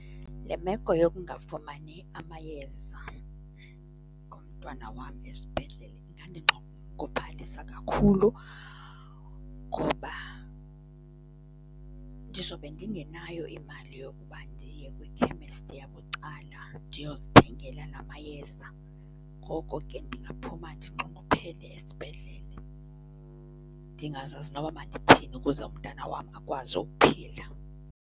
Le meko yokungafumani amayeza omntwana wam esibhedlele ingandinxunguphalisa kakhulu ngoba ndizobe ndingenayo imali yokuba ndiye kwikhemesti yabucala, ndiyozithengela la mayeza. Ngoko ke, ndingaphuma ndinxunguphele esibhedlele, ndingazazi noba mandithini ukuze umntana wam akwazi ukuphila.